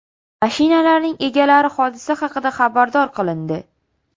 Mashinalarning egalari hodisa haqida xabardor qilindi.